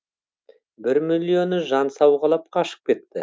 бір миллионы жан сауғалап қашып кетті